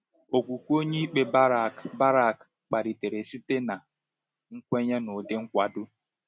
Okwukwe onyeikpe Barak Barak kpalitere site na nkwenye n'ụdị nkwado.